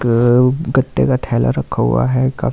एक गत्ते का थैला रखा हुआ है का --